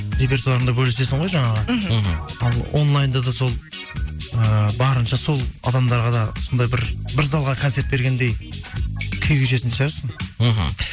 репетуарыңды бөлісесің ғой жаңағы мхм мхм ал онлайнда да сол ыыы барынша сол адамдарға да сондай бір бір залға концерт бергендей күй кешетін шығарсың мхм